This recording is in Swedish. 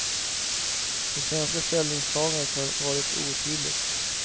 Det svenska ställningstagandet har varit otydligt.